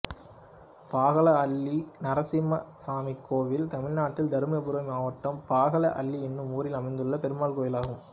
பாகலஅள்ளி நரசிம்மசாமி கோயில் தமிழ்நாட்டில் தர்மபுரி மாவட்டம் பாகலஅள்ளி என்னும் ஊரில் அமைந்துள்ள பெருமாள் கோயிலாகும்